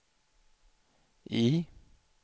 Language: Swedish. I